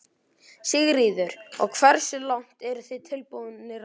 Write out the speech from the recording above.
Sigríður: Og hversu langt eru þið tilbúnir að ganga?